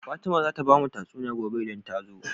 Fatima zata bamu tatsuniya gobe idan ta zo